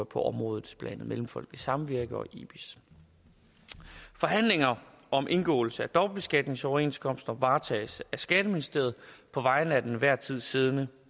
på området blandt andet mellemfolkeligt samvirke og ibis forhandlinger om indgåelse af dobbeltbeskatningsoverenskomster varetages af skatteministeriet på vegne af den til enhver tid siddende